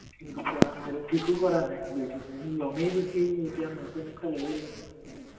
ঠিকো কৰা নাই বেটেৰী-চেটেৰী লমেই যেতিয়া নতুন একটা লৈয়ে লম